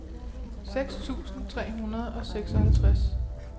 seks tusind tre hundrede og seksoghalvtreds